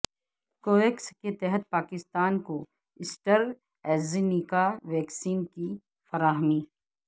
Covax کے تحت پاکستان کو ایسٹرازینیکا ویکسین کی فراہمی